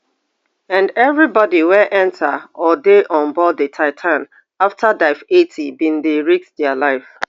and evribody wey enta or dey onboard di titan afta dive eighty bin dey risk dia life